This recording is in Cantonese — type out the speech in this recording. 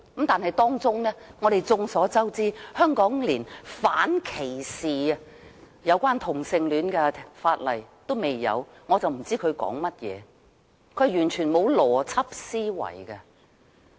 然而，眾所周知，香港連有關反歧視同性戀的法例尚未有，我真的不知他們在說甚麼，是完全沒有邏輯思維的。